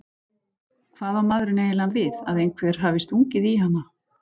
Hvað á maðurinn eiginlega við, að einhver hafi stungið í hana?